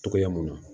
Togoya mun na